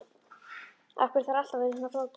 Af hverju þarf allt að vera svona flókið?